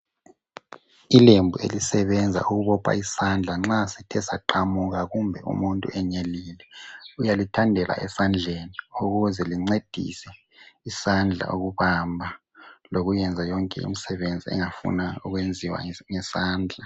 Ilembu elisebenza ukubopha isandla nxa sithe saqamuka kumbe umuntu enyelile. Uyalithandela esandleni ukuze lincedise isandla ukubamba lokuyenza yonke imisebenzi engafuna ukwenziwa ngesandla.